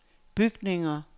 bygninger